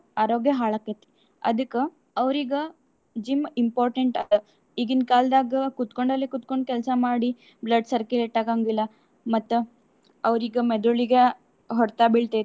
ಆರೋಗ್ಯ ಹಾಳ್ ಆಕ್ಕೇತಿ. ಅದಕ್ಕ ಅವ್ರಿಗ gym important ಅದ. ಈಗಿನ ಕಾಲ್ದಾಗ ಕುತ್ಕೊಂಡಲ್ಲೆ ಕೂತಕೊಂಡ್ ಕೆಲ್ಸಾ ಮಾಡಿ blood circulate ಆಗಾಂಗಿಲ್ಲಾ. ಮತ್ತ ಅವ್ರಿಗ ಮೆದುಳಿಗ ಹೊಡ್ತಾ ಬೀಳ್ತೇತಿ.